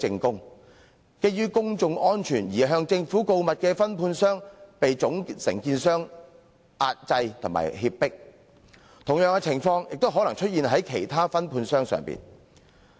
基於公眾安全而向政府告密的分判商，卻被總承建商壓制和脅迫，同樣情況亦可能出現在其他分判商身上。